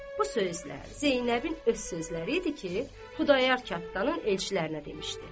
Bu sözlər Zeynəbin öz sözləri idi ki, Xudayar xanın elçilərinə demişdi.